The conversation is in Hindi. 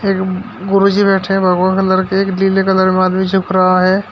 एक गुरुजी बैठे हैं भगवा कलर के एक लीले कलर में आदमी रहा है।